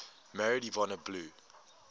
married yvonne blue